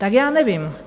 Tak já nevím.